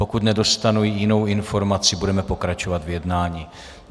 Pokud nedostanu jinou informaci, budeme pokračovat v jednání.